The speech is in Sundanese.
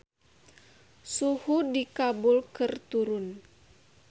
Suhu di Kabul keur turun